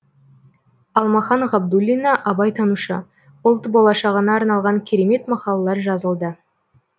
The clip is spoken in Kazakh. алмахан ғабдуллина абайтанушы ұлт болашағына арналған керемет мақалалар жазылды